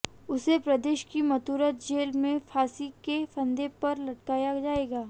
उसे प्रदेश की मथुरा जेल में फांसी के फंदे पर लटकाया जाएगा